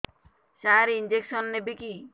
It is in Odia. ସାର ଇଂଜେକସନ ନେବିକି